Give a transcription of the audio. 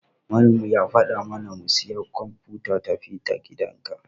Malamin mu ya fada mana mu siya kwamfuta tafi-da-gidanka.